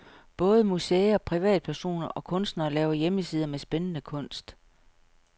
Både museer, privatpersoner og kunstnere laver hjemmesider med spændende kunst.